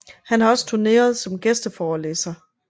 Han har også turneret som gæsteforelæser